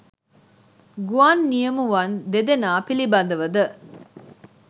ගුවන් නියමුවන් දෙදෙනා පිළිබඳව ද